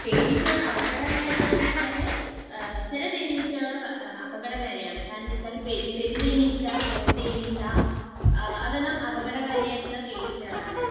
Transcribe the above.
തേനീച്ചകൾ അപകടകാരിയാണോ എന്നുവെച്ചാൽ ചില തേനീച്ചകൾ അപകടകാരിയാണ്. കാരണം എന്താണെന്നുവച്ചാൽ പെരുംതേനീച്ച, കോൽതേനീച്ച, അതെല്ലാം അപകടകാരികളായിട്ടുള്ള തേനീച്ചകളാണ്.